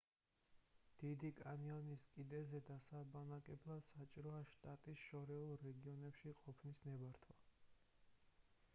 დიდი კანიონის კიდეზე დასაბანაკებლად საჭიროა შტატის შორეულ რეგიონებში ყოფნის ნებართვა